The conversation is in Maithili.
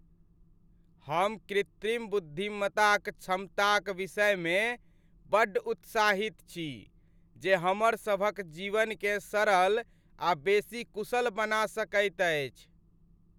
हम कृत्रिम बुद्धिमत्ताक क्षमताक विषयमे बड्ड उत्साहित छी जे हमर सभक जीवनकेँ सरल आ बेसी कुशल बना सकैत अछि।